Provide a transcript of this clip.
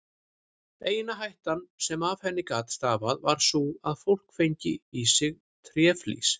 Eina hættan sem af henni gat stafað var sú að fólk fengi í sig tréflís.